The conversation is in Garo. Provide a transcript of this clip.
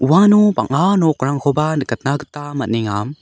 uano bang·a nokrangkoba nikatna gita man·enga.